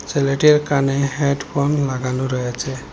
ছেলেটির কানে হেডফোন লাগানো রয়েছে।